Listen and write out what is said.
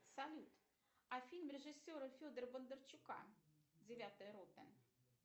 салют а фильм режиссера федора бондарчука девятая рота